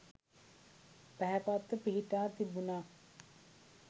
පැහැපත්ව පිහිටා තිබුණා.